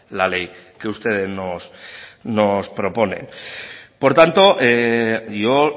la ley que ustedes nos proponen por tanto yo